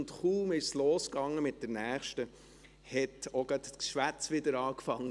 Und kaum ging es mit der nächsten los, hat auch gleich das Geschwätz wieder begonnen.